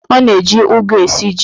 Ọ na-eji ụgụ esi ji.